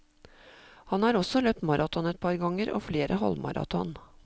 Han har også løpt maraton et par ganger og flere halvmaraton.